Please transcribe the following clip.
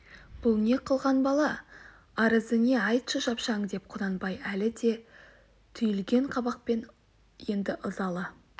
бұл не қылған бала арызы не айтшы шапшаң деп құнанбай әлі де түйілген қабақпен енді ызалы